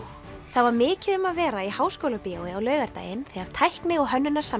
það var mikið um að vera í Háskólabíói á laugardaginn þegar tækni og